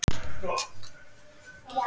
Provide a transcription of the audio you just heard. Smá hjálp.